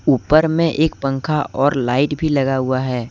ऊपर में एक पंखा और लाइट भी लगा हुआ है।